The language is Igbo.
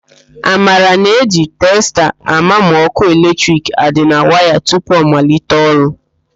Amara na-eji testa àmà ma ọ́kụ́ eletrik a dị na waya tupu ọ malite ọrụ.